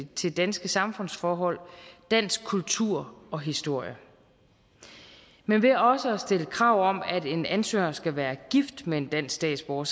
til danske samfundsforhold dansk kultur og historie men ved også at stille krav om at en ansøger skal være gift med en dansk statsborger